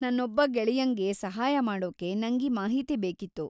ನನ್ನೊಬ್ಬ ಗೆಳೆಯಂಗೆ ಸಹಾಯ ಮಾಡೋಕೆ ನಂಗೀ ಮಾಹಿತಿ ಬೇಕಿತ್ತು.